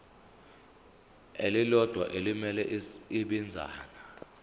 elilodwa elimele ibinzana